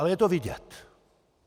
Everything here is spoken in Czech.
Ale je to vidět.